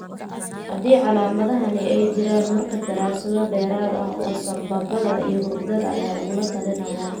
Haddii calaamadahani ay jiraan markaa daraasado dheeraad ah oo sambabada iyo hurdada ayaa lagula talinayaa.